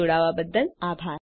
જોડાવા બદ્દલ આભાર